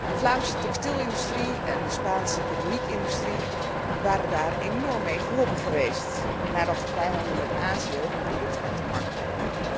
De Vlaamse textielindustrie en de Spaanse keramiekindustrie waren daar enorm bij gebaat geweest nadat de vrijhandel met Azië hun producten uit de markt dreef.